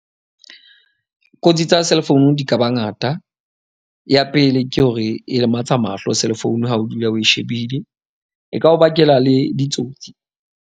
Kotsi tsa cell phone di ka ba ngata, ya pele ke hore e lematsa mahlo cell phone ha o dula o shebile, e ka o bakela le ditsotsi.